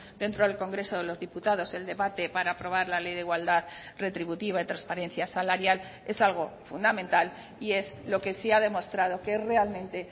dentro del congreso de los diputados el debate para aprobar la ley de igualdad retributiva y transparencia salarial es algo fundamental y es lo que sí ha demostrado que es realmente